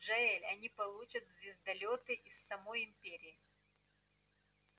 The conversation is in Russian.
джаэль они получат звездолёты из самой империи